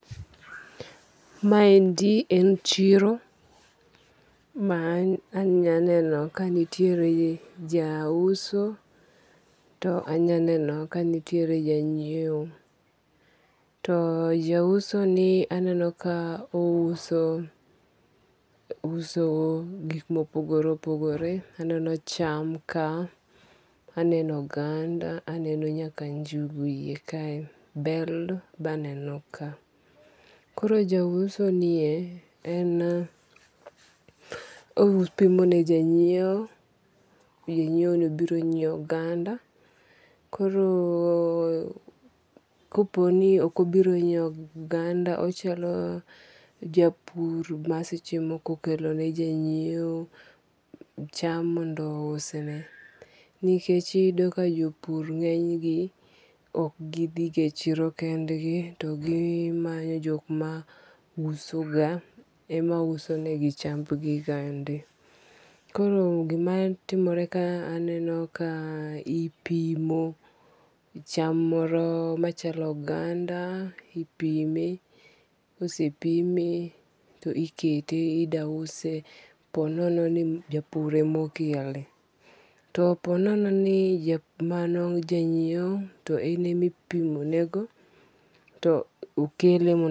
Ma endi en chiro ma anyaneno kanitiere ja uso. To anya neno kanitiere ja nyiewo. To ja uso ni aneno ka ouso gik mopogore opogore. Aneno cham ka. Aneno oganda. Aneno nyaka njugu e yie ka. Bel be aneno ka. Koro ja uso nie en opimo ne ja nyiewo. Ja nyiewo ni obiro nyiew oganda. Koro kopo ni ok obiro nyiew oganda, ochalo japur ma seche moko okelo ne janyiew cham mondo ousne. Nikech iyudo ka jopur ngeny gi ok gidhi ga e chiero kendgi to gimanyo jok ma uso ga ema uso ne gi chambi ggande. Koro gima timore ka aneno ka ipimo cham moro machalo oganda. Ipime. Kosepime, to ikete idwa use po nono ji japur ema okele. To po nono mano janyiewo to ene mipimo